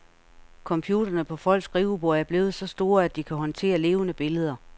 Computerne på folks skriveborde er blevet så store, at de kan håndtere levende billeder.